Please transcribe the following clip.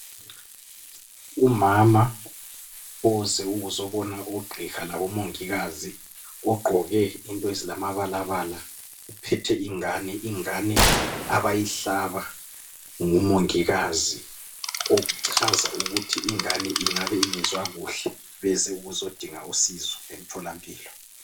Umama oze ukuzobona ogqiha labomongikazi ugqoke into ezilamabalabala uphethe ingane. Ingane abayihlaba ngomongikazi okuchaza ukuthi ingane ingabe ongezwa kuhle beze ukuzodinga usizo emtholampilo.